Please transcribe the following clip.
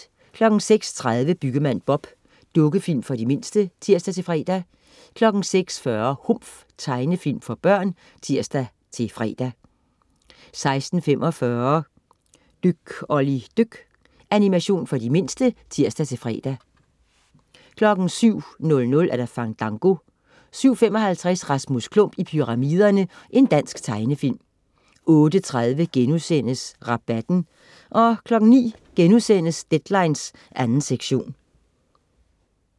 06.30 Byggemand Bob. Dukkefilm for de mindste (tirs-fre) 06.40 Humf. Tegnefilm for børn (tirs-fre) 06.45 Dyk Olli dyk. Animation for de mindste (tirs-fre) 07.00 Fandango 07.55 Rasmus Klump i pyramiderne. Dansk tegnefilm 08.30 Rabatten* 09.00 Deadline 2. sektion*